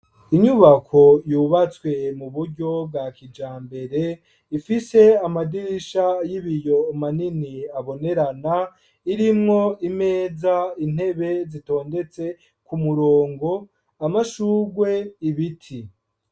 Inyubako, yubatswe mu buryo bwa kijambere, ifise amadirisha y'ibiyo, manini, abonerana; irimwo imeza, intebe, zitondetse ku murongo; amashuwe, ibiti.